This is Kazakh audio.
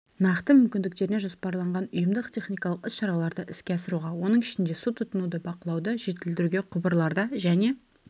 нақты мүмкіндіктеріне жоспарланған ұйымдық-техникалық іс-шараларды іске асыруға оның ішінде су тұтынуды бақылауды жетілдіруге құбырларда және